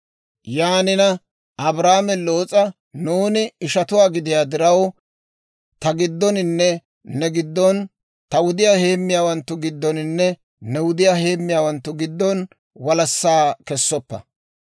Yaanina Abraame Loos'a, «Nuuni ishatuwaa gidiyaa diraw, ta giddoninne ne giddon, ta wudiyaa heemmiyaawanttu giddoninne ne wudiyaa heemmiyaawanttu giddon walassaa kessoppa.